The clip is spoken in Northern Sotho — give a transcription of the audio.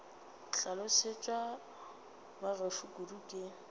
hlolosetšwe ba gešo kudu ke